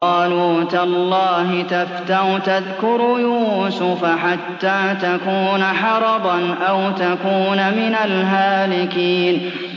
قَالُوا تَاللَّهِ تَفْتَأُ تَذْكُرُ يُوسُفَ حَتَّىٰ تَكُونَ حَرَضًا أَوْ تَكُونَ مِنَ الْهَالِكِينَ